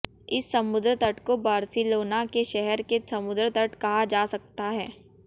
इस समुद्र तट को बार्सिलोना के शहर के समुद्र तट कहा जा सकता है